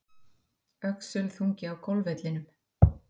Öxulþungi á golfvellinum